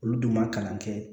Olu dun ma kalan kɛ